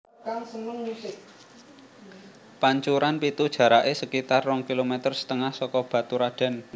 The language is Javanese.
Pancuran Pitu jaraké sekitar rong kilometer setengah saka Baturadèn